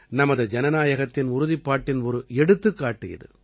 நமது ஜனநாயகத்தின் உறுதிப்பாட்டின் ஒரு எடுத்துக்காட்டு இது